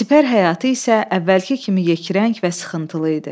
Sipər həyatı isə əvvəlki kimi yekrəng və sıxıntılı idi.